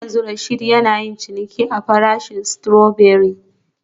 Har yanzu Rasheed yana yin ciniki kan farashin strawberry